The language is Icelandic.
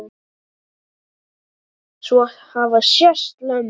Svo hafa sést lömb.